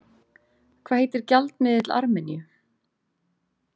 Hvað heitir gjaldmiðill Armeníu?